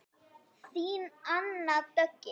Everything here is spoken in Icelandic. Þín Anna Döggin.